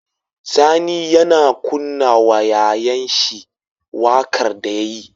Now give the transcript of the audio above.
Sani yAna kunna wa yayan shi waƙar da yayi